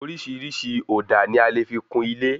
Orísirísi òdà ní a fí le kún ilé